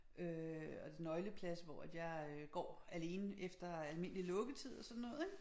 Øh og nøgleplads hvor at jeg øh går alene efter almindelig lukketid og sådan noget ik